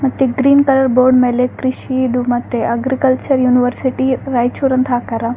ಮತ್ತೆ green colour board ಮೇಲೆ ಕೃಷಿದು ಮತ್ತೆ ಅಗ್ರಿಕಲ್ಚರ್ ಯೂನಿವರ್ಸಿಟಿ ರಾಯಚೂರು ಅಂತ ಹಾಕರ.